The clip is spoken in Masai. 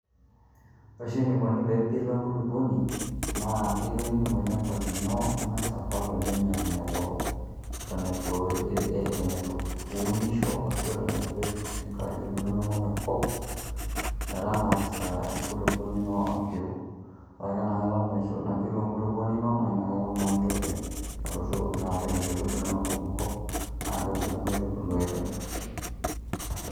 Ore oshi enikoni pee epiru enkulukoni naa irem olchamba lino ning'as apal oleng' eton itu eto itu eton itu iunisho ashu eton itu ipik nkaitubulu inonok enkop metang'asa enkulukoni ino apiru. Ore ake ena kata napiru enkulukoni ino naa inakata naa intoki alotu naa apik nkaitubulu inonok enkop naake ebulu nkaitubulu aitobiraki.